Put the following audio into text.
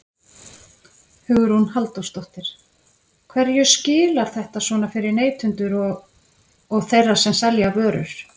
Hugrún Halldórsdóttir: Hverju skilar þetta svona fyrir neytendur og, og þeirra sem selja vörur?